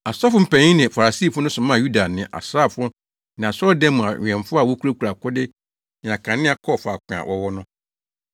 Asɔfo mpanyin ne Farisifo no somaa Yuda ne asraafo ne asɔredan mu awɛmfo a wokurakura akode ne akanea kɔɔ faako a wɔwɔ no.